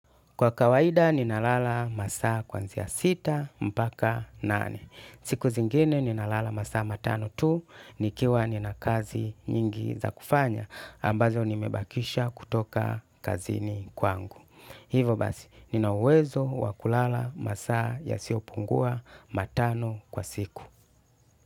Kwa kawaida nina lala masaa kuanzia sita mpaka nane. Siku zingine nina lala masaa matano tu nikiwa nina kazi nyingi za kufanya ambazo nimebakisha kutoka kazini kwangu. Hivyo basi nina uwezo wa kulala masaa yasio pungua matano kwa siku.